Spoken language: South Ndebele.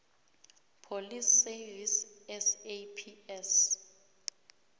police service saps